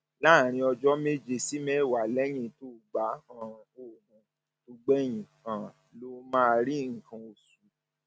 láàárín ọjọ méje sí mẹwàá lẹyìn tó gba um òògùn tó gbẹyìn um ló máa rí nǹkan um oṣù